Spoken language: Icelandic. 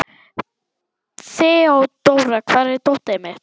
Þeódóra, hvar er dótið mitt?